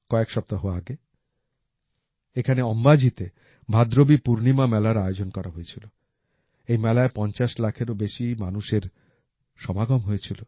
কয়েক সপ্তাহ আগে এখানে অম্বাজিতে ভাদ্রবী পূর্ণিমা মেলার আয়োজন করা হয়েছিল এই মেলায় পঞ্চাশ লাখেরও বেশি মানুষের সমাগম হয়েছিল